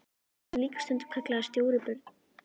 Hann er líka stundum kallaður Stóri björn.